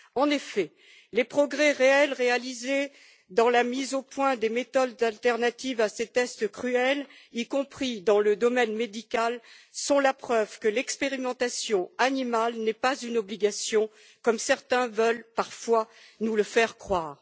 En effet, les progrès réels réalisés dans la mise au point des méthodes de substitution à ces tests cruels, y compris dans le domaine médical, sont la preuve que l'expérimentation animale n'est pas une obligation, comme certains veulent parfois nous le faire croire.